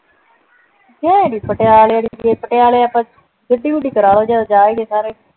ਗਏ ਨਹੀਂ ਪਟਿਆਲੇ ਅਸੀਂ ਪਟਿਆਲੇ ਆਪਾਂ ਕਦੇ ਗੱਡੀ ਗੁੜੀ ਕਰਲੋ ਜਦ ਜਾਵਾਂਗੇ ਸਾਰੇ